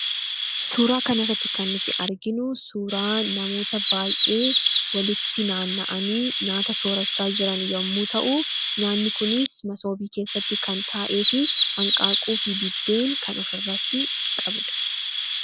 Suuraa kana irratti kan nuti arginu suuraa namoota baay'ee walitti naanna'anii nyaata sorrachaa jiran yommuu ta'u, nyaanni kunis Masoobii keeessa kan ta'efi Hanqaaquuf buddeen kan ofirratti qabudha.